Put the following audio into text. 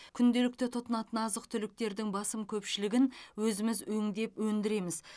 күнделікті тұтынатын азық түліктердің басым көпшілігін өзіміз өңдеп өндіреміз